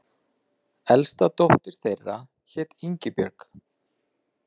Elsta dóttir þeirra hét Ingibjörg.